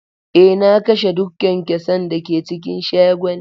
Eh, na kashe duk kyankyasan da ke cikin shagon.